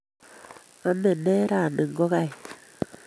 Ame ne rani ngogaik?